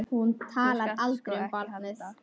Þú skalt sko ekki halda.